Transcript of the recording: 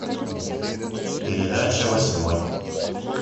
передача восьмой